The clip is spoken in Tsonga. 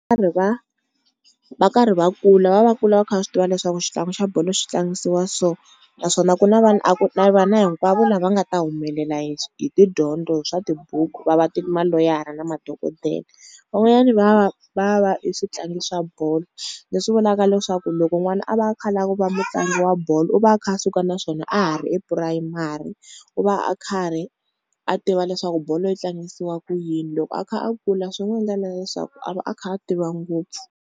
va, va karhi va kula va va va kula va kha va swi tiva leswaku xitlangi xa bolo xi tlangisiwa so, naswona ku na vanhu a ku na vana hinkwavo lava nga ta humelela hi tidyondzo hi swa tibuku, va va ti maloyara na madokodele. Van'wanyani va va va va e switlangi swa bolo, leswi vulaka leswaku loko n'wana a va a kha a lava ku va mutlangi wa bolo u va a kha a suka na swona a ha ri epurasini, u va a khari a tiva leswaku bolo yi tlangisiwa ku yini loko a kha a kula swi n'wi endla na leswaku a va a kha a tiva ngopfu.